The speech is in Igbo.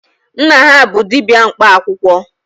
Nna ha bụ dibịa mkpa akwụkwọ.